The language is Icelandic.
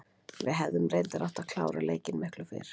Við hefum reyndar átt að klára leikinn miklu fyrr.